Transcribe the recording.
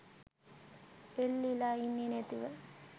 එල්ලිලා ඉන්නේ නැතිව